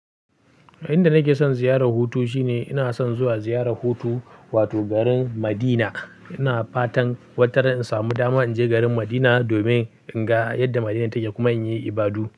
Inda nake son ziyarar hutu shine ina son zuwa ziyarar hutu, wato garin Madina. Ina fatan wataran in samu dama in je garin Madina domin in ga yadda Madina take kuma in yi ibadu.